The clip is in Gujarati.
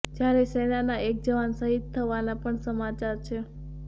જ્યારે સેનાના એક જવાન શહીદ થવાના પણ સમાચાર છે